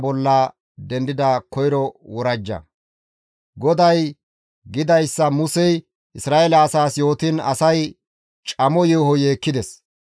GODAY gidayssa Musey Isra7eele asaas yootiin asay camo yeeho yeekkides.